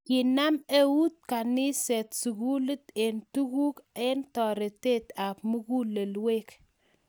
Kinam eut kaniset sukulit eng tukuk ang taretet ab mugulelwek